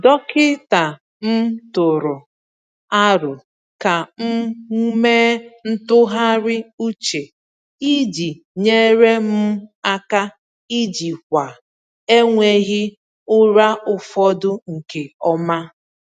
Dọkịta m tụụrụ aro ka m mee ntụgharị uche iji nyere m aka ijikwa enweghị ụra ụfọdụ nke ọma.